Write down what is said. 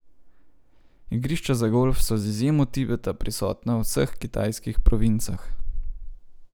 Igrišča za golf so z izjemo Tibeta prisotna v vseh kitajskih provincah.